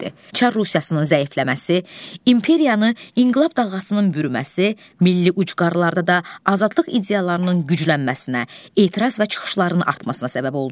Çar Rusiyasının zəifləməsi, imperiyanı inqilab dalğasının bürüməsi, milli ucqarlarda da azadlıq ideyalarının güclənməsinə, etiraz və çıxışlarının artmasına səbəb oldu.